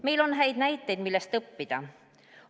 Meil on häid näiteid, millest õppida.